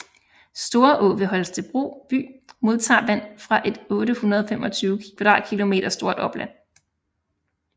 Storå ved Holstebro by modtager vand fra et 825 km² stort opland